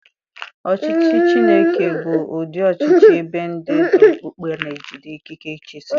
Ọchịchị Chineke bụ ụdị ọchịchị ebe ndị ndú okpukpe na-ejide ikike ịchịisi.